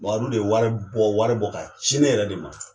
Mamadu de ye wari bɔ wari bɔ ka ci ne yɛrɛ de ma